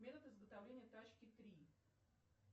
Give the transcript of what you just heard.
метод изготовления тачки три